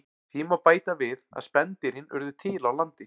Því má bæta við að spendýrin urðu til á landi.